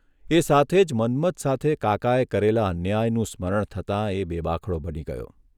એ સાથે જ મન્મથ સાથે કાકાએ કરેલા અન્યાયનું સ્મરણ થતાં એ બેબાકળો બની ગયો.